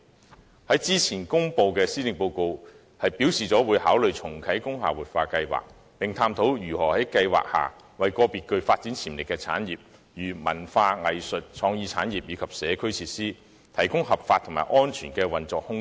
政府先前公布的施政報告表示，會考慮重啟工廈活化計劃，並探討如何在計劃下為個別具發展潛力的產業——例如文化、藝術、創意產業——以及社區設施，提供合法及安全的運作空間。